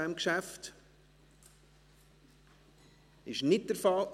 – Das ist nicht der Fall.